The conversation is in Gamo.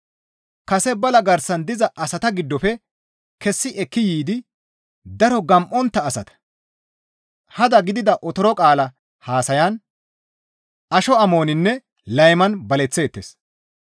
Kase bala garsan diza asata giddofe kessi ekki yiidi daro gam7ontta asata; hada gidida otoro qaala haasayan, asho amoninne layman baleththeettes.